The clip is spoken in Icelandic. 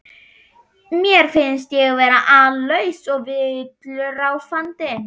Mér finnst ég vera allslaus og villuráfandi.